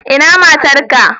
Ina matar ka?